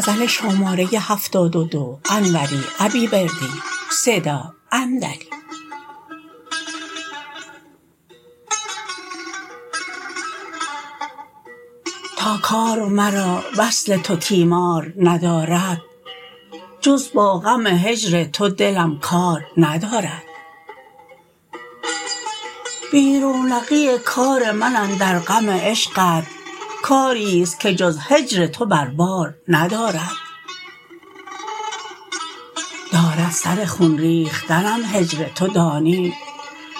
تا کار مرا وصل تو تیمار ندارد جز با غم هجر تو دلم کار ندارد بی رونقی کار من اندر غم عشقت کاریست که جز هجر تو بر بار ندارد دارد سر خون ریختنم هجر تو دانی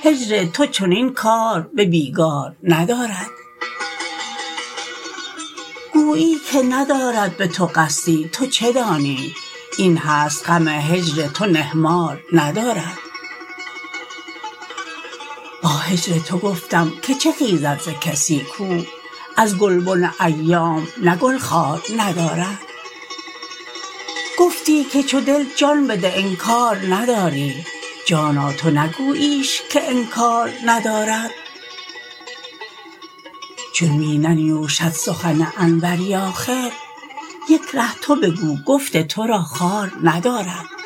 هجر تو چنین کار به بیگار ندارد گویی که ندارد به تو قصدی تو چه دانی این هست غم هجر تو نهمار ندارد با هجر تو گفتم که چه خیزد ز کسی کو از گلبن ایام نه گل خار ندارد گفتی که چو دل جان بده انکار نداری جانا تو نگوییش که انکار ندارد چون می ننیوشد سخن انوری آخر یک ره تو بگو گفت ترا خوار ندارد